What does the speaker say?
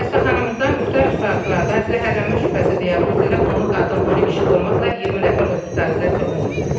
Xəstəxanamızda müxtəlif saatlarda zəhərlənmə şübhəsi diaqnozu ilə 10-u qadın, 10-u kişi olmaqla 20 nəfər hospitalizasiya olunub.